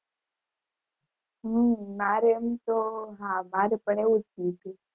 હમ મારે એમ તો, હા મારે એવું જ થયું હતું.